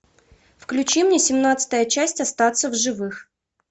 включи мне семнадцатая часть остаться в живых